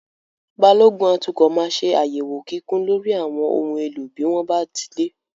Balógun atukọ̀ máa ṣe àyẹ̀wò kíkún lórí àwọn ohun èlò bí wón bá ti dé.